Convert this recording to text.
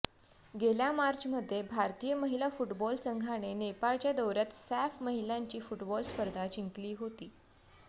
गेल्या मार्चमध्ये भारतीय महिला फुटबॉल संघाने नेपाळच्या दौऱयात सॅफ महिलांची फुटबॉल स्पर्धा जिंकली होती